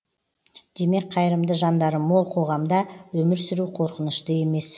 демек қайырымды жандары мол қоғамда өмір сүру қорқынышты емес